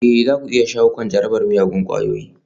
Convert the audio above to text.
Ee za ku iya shawo kan jarabar miyagun ƙwayoyi